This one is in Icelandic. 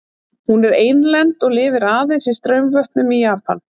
Hún er einlend og lifir aðeins í straumvötnum í Japan.